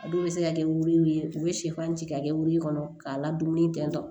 A dɔw bɛ se ka kɛ wili ye u bɛ sɛfan ci k'a kɛ wuru kɔnɔ k'a ladonni tɛntɛn